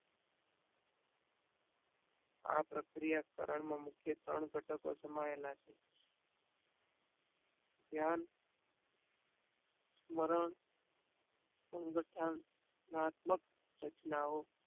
આ પ્રક્રિયાકરણ માં મુખ્ય ત્રણ ઘટકો સમાયેલા છે ધ્યાન સ્મરણ સંગઠન મહાત્મ્ક રચનાયો